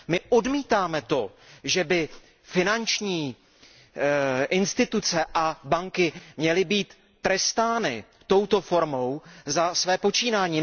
My odmítáme to, že by finanční instituce a banky měly být trestány touto formou za své počínání.